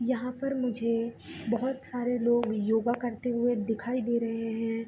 यहाँ पर मुझे बहुत सारे लोग योगा करते हुए दिखाई दे रहें हैं।